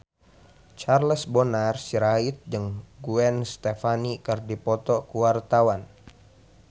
Charles Bonar Sirait jeung Gwen Stefani keur dipoto ku wartawan